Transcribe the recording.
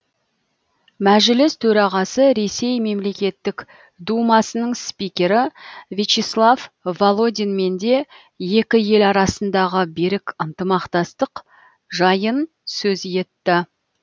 мәжіліс төрағасы ресей мемлекеттік думасының спикері вячеслав володинмен де екі ел арасындағы берік ынтымақтастық жайын сөз етті